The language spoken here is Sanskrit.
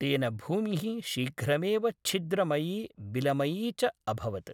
तेन भूमिः शीघ्रमेव छिद्रमयी बिलमयी चअभवत्।